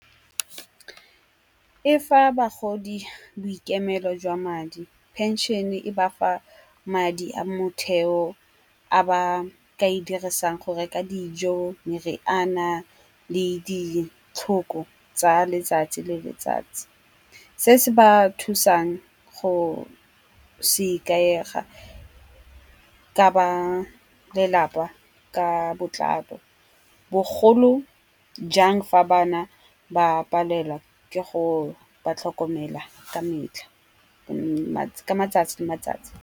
E fa bagodi boikemelo jwa madi, pension-e e bafa madi a motheo a ba ka e dirisang go reka dijo, meriana le ditlhoko tsa letsatsi le letsatsi. Se se ba thusang go se ikaega ka ba lelapa ka botla bogolo jang fa ba na ba palelwa ke go ba tlhokomela ka metlha ka matsatsi le matsatsi.